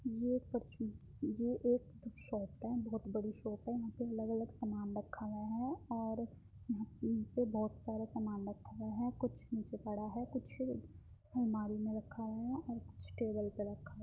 ये एक परचून ये एक शॉप है। बहुत बड़ी शॉप है। यहाँ पे अलग अलग सामान रखा हुआ है और यहाँ पे बहुत सारा सामान रखा गया है। कुछ नीचे पड़ा है कुछ आलमारी में रखा है और कुछ टेबल पे रखा है।